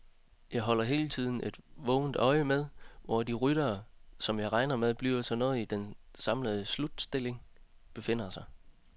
Jeg holder hele tiden vågent øje med, hvor de ryttere, som jeg regner med bliver noget i den samlede slutstilling, befinder sig.